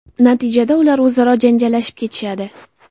Natijada ular o‘zaro janjallashib ketishadi.